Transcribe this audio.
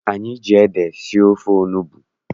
Anyị ji ede sie ofe onugbu.